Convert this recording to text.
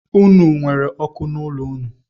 Unu nwere ọkụ n’ụlọ ụnụ